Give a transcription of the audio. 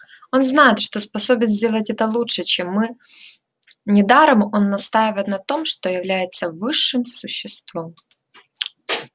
он знает что способен сделать это лучше чем мы недаром он настаивает на том что является высшим существом